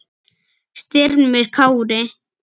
Styrmir Kári.